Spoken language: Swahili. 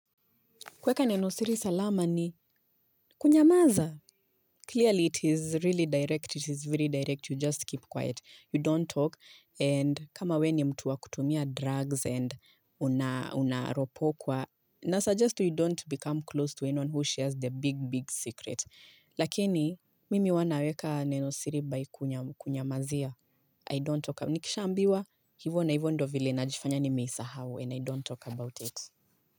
Kuweka nenosiri salama ni kunyamaza. Clearly, it is really direct. It is very direct. You just keep quiet. You don't talk. And kama wewe ni mtu wa kutumia drugs and unaropokwa. Na suggest you don't become close to anyone who shares the big, big secret. Lakini, mimi huwa naweka nenosiri by kunyamazia. I don't talk. Nikishaambiwa hivyo na hivyo ndo vile najifanya nimeisahau and I don't talk about it.